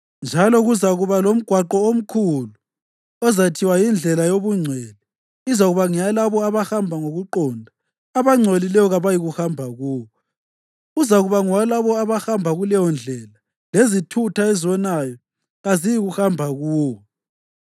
Njalo kuzakuba lomgwaqo omkhulu: uzathiwa yiNdlela yobuNgcwele, izakuba ngeyalabo abahamba ngokuqonda. Abangcolileyo kabayikuhamba kuwo; uzakuba ngowalabo abahamba kuleyoNdlela lezithutha ezonayo kaziyikuhambahamba kuwo.